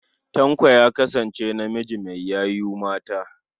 Tanko ya kasance namiji mai yayu mata.